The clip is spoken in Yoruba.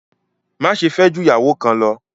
Máṣẹ̀ fẹ́ jù iyàwọ́ kán lọ̀!